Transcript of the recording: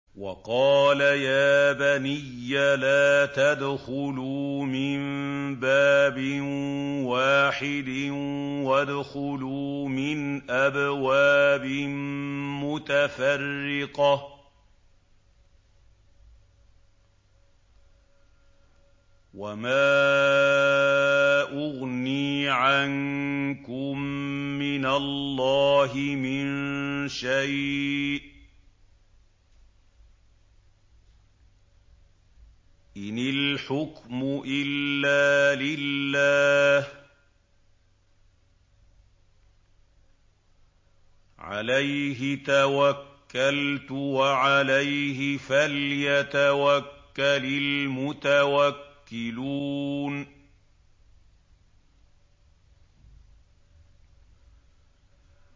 وَقَالَ يَا بَنِيَّ لَا تَدْخُلُوا مِن بَابٍ وَاحِدٍ وَادْخُلُوا مِنْ أَبْوَابٍ مُّتَفَرِّقَةٍ ۖ وَمَا أُغْنِي عَنكُم مِّنَ اللَّهِ مِن شَيْءٍ ۖ إِنِ الْحُكْمُ إِلَّا لِلَّهِ ۖ عَلَيْهِ تَوَكَّلْتُ ۖ وَعَلَيْهِ فَلْيَتَوَكَّلِ الْمُتَوَكِّلُونَ